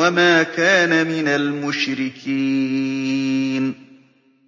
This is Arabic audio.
وَمَا كَانَ مِنَ الْمُشْرِكِينَ